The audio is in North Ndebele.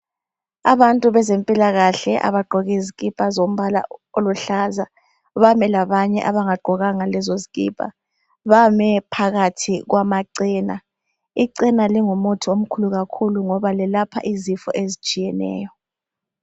Abantu bezempilakahle abagqoke izikipa zombala oluhlaza bame labanye abangagqokanga lezo zikipa. Bame phakathi kwama chena, ichena lingumuthi omkhulu kakhulu ngoba lelapha izifo ezitshiyeneyo.